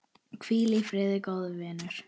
Hvíl í friði, góði vinur.